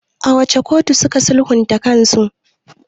A wace kotu suka sulhunta kansu?